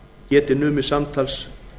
geti numið samtals